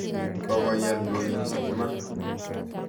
Kokoye ndoit iman.